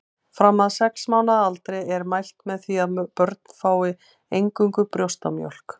Fram að sex mánaða aldri er mælt með því að börn fái eingöngu brjóstamjólk.